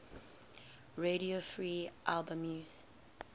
radio free albemuth